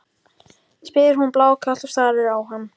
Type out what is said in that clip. spyr hún blákalt og starir á hann.